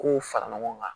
K'u fara ɲɔgɔn kan